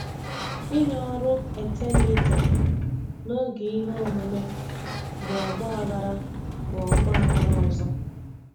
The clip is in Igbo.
Ịnye ọrụ etemeete n'oge ihe omume bụ ọgba aghara bụ ọgba aghara ọzọ.